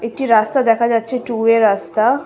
একটি রাস্তা দেখা যাচ্ছে টু ওয়ে রাস্তা।